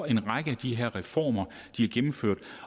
en række af de her reformer er gennemført